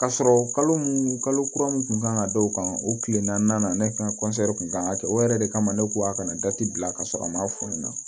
Ka sɔrɔ kalo mun kalo kura mun kun kan ka d'o kan o kile naani ne ka kun kan ka kɛ o yɛrɛ de kama ne ko a kana gati bila ka sɔrɔ an m'a f'u ɲɛna